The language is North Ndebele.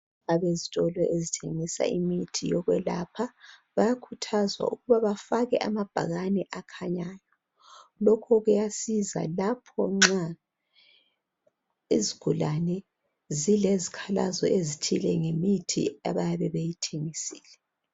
Abezitolo ezithengisa imithi yokwelatshwa bayakhuthazwa ukuba bafake amabhakane akhanyayo. lokho kuyasiza lapho nxa izigulane zilezikhalazo ezithile ngemithi abayabe beyithengisile.